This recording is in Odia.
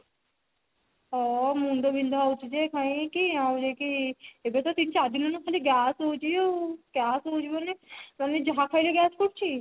ହଁ ମୁଣ୍ଡ ବିନ୍ଧା ହଉଛି ଯେ କାହିଁ କି ଆହୁରି କି ଏବେ ତ ତିନି ଚାରି ଦିନ ହେଲାଣି ଖାଲି gas ହଉଛି ମାନେ ଯାହା ଖାଇଲେ gas କରୁଛି